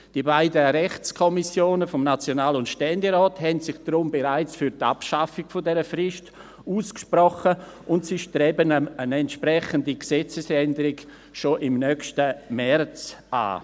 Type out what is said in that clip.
Die beiden Rechtskommissionen des National- und Ständerates haben sich deshalb bereits für die Abschaffung dieser Frist ausgesprochen, und sie streben eine entsprechende Gesetzesänderung schon im nächsten März an.